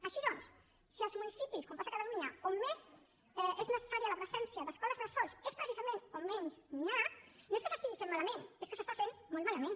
així doncs si els municipis com passa a catalunya on més és necessària la presència d’escoles bressol és precisament on menys n’hi ha no és que s’estigui fent malament és que s’està fent molt malament